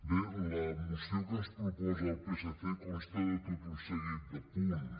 bé la moció que ens proposa el psc consta de tot un seguit de punts